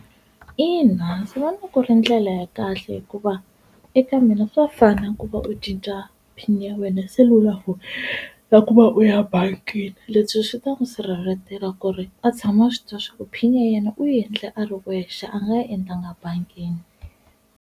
Ina, ndzi vona ku ri ndlela ya kahle hikuva eka mina swa fana ku va u cinca pin ya wena ya selulafoni na ku va u ya bangini, leswi swi ta n'wi sirheleletela ku ri a tshama a swituva swaku pin ya yena u yi endle a ri wexe a nga yi endlanga bangini.